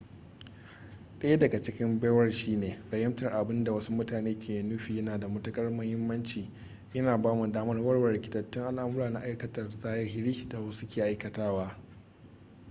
daya daga cikin baiwar shine fahimtar abin da wasu mutane ke nufi yana da matuƙar muhimmanci yana ba mu damar warware rikitattun al'amura na ayyukan zahiri da wasu su ka aikata